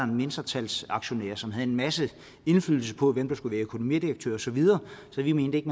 mindretalsaktionær som havde en masse indflydelse på hvem der skulle være økonomidirektør og så videre så vi mente ikke